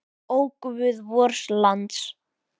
Ó, guð vors lands!